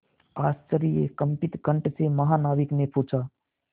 आश्चर्यकंपित कंठ से महानाविक ने पूछा